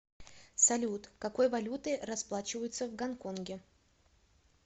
салют какой валютой расплачиваются в гонконге